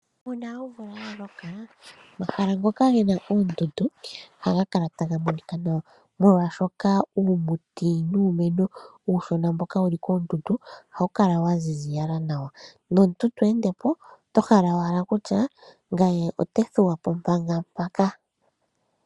Uuna omvula yaloka, omahala ngoka gena oondundu, ohaga kala taga monika nawa. Molwaashoka uumuti nuumeno uushona mboka wulu koondundu, ohawu kala waziza nawa. Nomuntu te ende po, ota hala kutya, ye ota thuwa po manga mpoka.